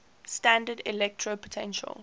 standard electrode potential